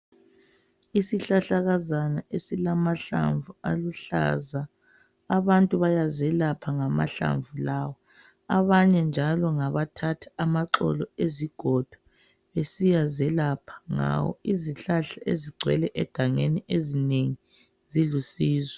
Isihlahlakazana esilamahlamvu aluhlaza abantu bayazelapha ngamahlamvu lawa abenye njalo ngabathatha amaxolo awezigodo besiyazelapha ngawo izihlahla ezingcwele egangeni ezinengi zilusizo